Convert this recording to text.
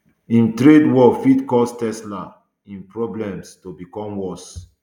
im trade war fit cause tesla im problems to become worse